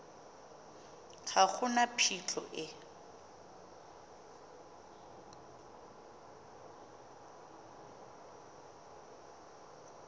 ga go na phitlho e